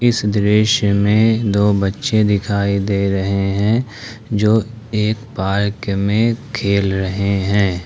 इस दृश्य में दो बच्चे दिखाई दे रहे हैं जो एक पार्क में खेल रहे हैं।